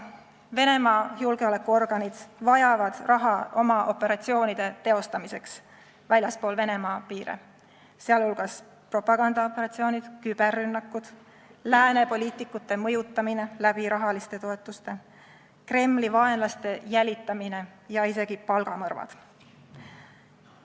Venemaa julgeolekuorganid vajavad raha oma operatsioonide teostamiseks väljaspool Venemaa piire, sh on propagandaoperatsioonid, küberrünnakud, lääne poliitikute mõjutamine rahaliste toetustega, Kremli vaenlaste jälitamine ja isegi palgamõrvad.